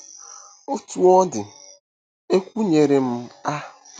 Otú ọ dị, ekwu nyere m “ a.